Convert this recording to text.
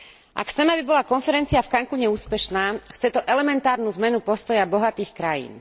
A k chceme, aby bola konferencia v Cancúne úspešná, chce to elementárnu zmenu postoja bohatých krajín.